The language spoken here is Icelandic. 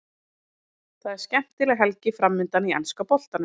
Það er skemmtileg helgi framundan í enska boltanum.